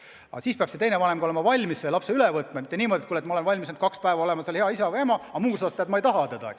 Aga siis peab teine vanem olema valmis lapse üle võtma, mitte suhtuma niimoodi, et ma olen valmis kaks päeva olema hea isa või ema, aga muus osas, teate, ma ei taha teda.